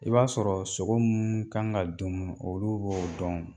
I b'a sɔrɔ sogo munnu kan ka dunmu olu b'o dɔn